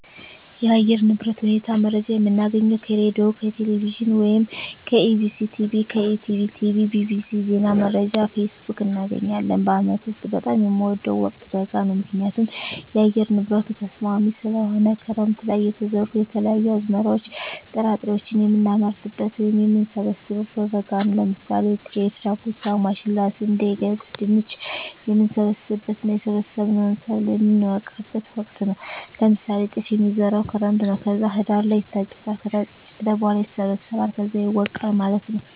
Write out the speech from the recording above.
የአየር ንብረት ሁኔታ መረጃ የምናገኘው ከሬድዬ፣ ከቴሌቪዥን ወይም ከEBctv፣ ከETB tv፣ bbc፣ ዜና መረጃ፣ ፌስቡክ፣ እናገኛለን። በአመት ውስጥ በጣም የምወደው ወቅት በጋ ነው ምክንያቱም የአየር ንብረቱ ተስማሚ ስለሆነ፣ ክረምት ለይ የተዘሩ የተለያዩ አዝመራዎች ጥራጥሬዎችን የምናመርትበት ወይም የምንሰብበው በበጋ ነው ለምሳሌ ጤፍ፣ ዳጉሳ፣ ማሽላ፣ ስንዴ፣ ገብስ፣ ድንች፣ የምንሰበስብበት እና የሰበሰብነውን ሰብል የምነወቃበት ወቅት ነው ለምሳሌ ጤፍ የሚዘራው ክረምት ነው ከዛ ህዳር ላይ ይታጨዳል ከታጨደ በኋላ ይሰበሰባል ከዛ ይወቃል ማለት ነው።